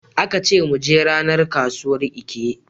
Aka ce mu je ranar kasuwar Eke.